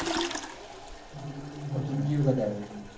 પણ તું બીજી વખત આયો હસી?